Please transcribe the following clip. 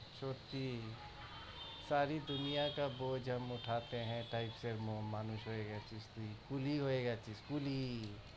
সত্যি, সারি দুনিয়াকা বোঝ হাম উঠাতেহে কেইসে মো~মানুষ হয়ে গেছিস তুই, কুলি হয়ে গেছিস তুই কুলি।